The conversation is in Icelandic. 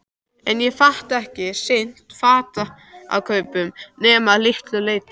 En ég get ekki sinnt fatakaupum nema að litlu leyti.